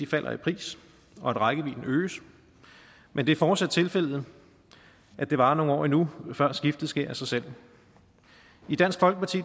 falder i pris og at rækkevidden øges men det er fortsat tilfældet at det varer nogle år endnu før skiftet sker af sig selv i dansk folkeparti